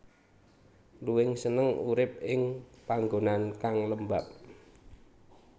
Luwing seneng urip ing panggonan kang lembab